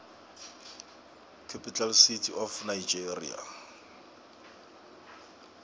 capital city of nigeria